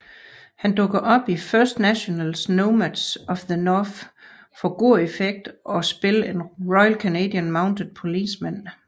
Han dukkede op i First Nationals Nomads of the North for god effekt at spille en Royal Canadian Mounted Policeman